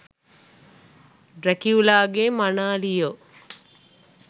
ඩ්රැකියුලාගේ මනාලියෝ